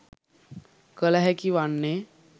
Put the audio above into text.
කළ හැකි වන්නේ